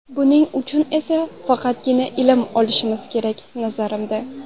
Buning uchun esa faqatgina ilm olishimiz kerak, nazarimda.